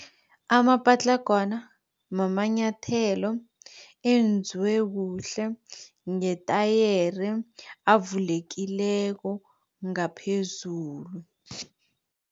Amapatlagwana mamanyathelo enziwe kuhle ngetayere, avulekileko ngaphezulu.